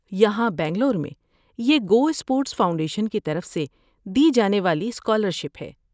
یہاں بنگلور میں یہ گو اسپورٹس فاؤنڈیشن کی طرف سے دی جانے والی اسکالرشپ ہے۔